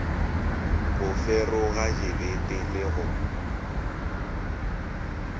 go feroga dibete le go